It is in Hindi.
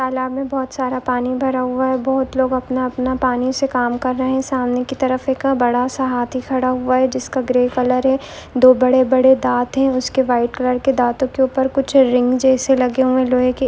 तालाब बहुत सारा पानी भरा हुआ है बहुत लोग अपना-अपना पानी से काम कर रहे है सामने की तरफ एक बड़ा सा हाथी खड़ा हुआ है जिसका ग्रे कलर है दो बड़े-बड़े दात है उसके व्हाइट कलर के दातो के ऊपर कुछ रिग जैसे लगे हुए है लोहे के।